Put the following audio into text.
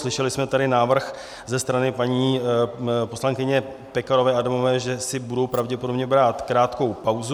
- Slyšeli jsme tady návrh ze strany paní poslankyně Pekarové Adamové, že si budou pravděpodobně brát krátkou pauzu.